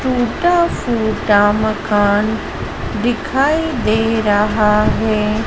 टूटा फूटा मकान दिखाई दे रहा है।